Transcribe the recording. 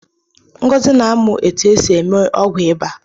Ngozi na-amụ etu e si eme ọgwụ ịba